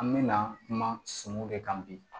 An mɛna kuma de kan bi